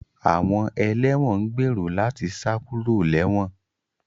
Àwọn ẹlẹ́wọ̀n ń gbèrò láti sá kúrò léwọ̀n